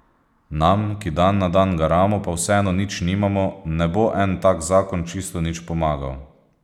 Nam, ki dan na dan garamo pa vseeno nič nimamo, ne bo en tak zakon čisto nič pomagal.